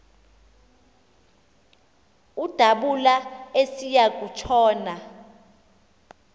udabula esiya kutshona